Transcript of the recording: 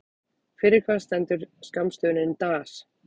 Fyrir hvað stendur skammstöfunin DAS?